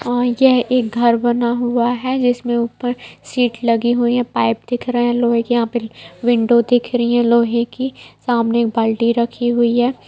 और यह एक घर बना हुआ है जिसमें ऊपर सीट लगी हुई है पाइप दिख रहे है लोहे की यहां पे विंडो दिख रही है लोहे की सामने एक बाल्टी दिख रही है।